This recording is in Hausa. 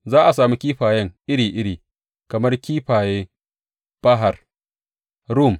Za a sami kifayen iri iri, kamar kifaye Bahar Rum.